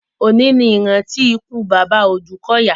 Òní ní ìrántí ikú bàbá Òdúkọ̀yà.